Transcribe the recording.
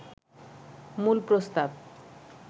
মূল প্রস্তাব